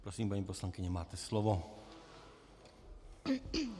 Prosím, paní poslankyně, máte slovo.